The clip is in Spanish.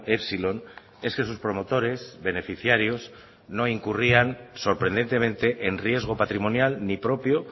epsilon es que sus promotores beneficiarios no incurrían sorprendentemente en riesgo patrimonial ni propio